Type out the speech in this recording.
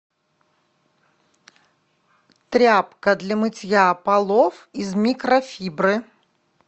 тряпка для мытья полов из микрофибры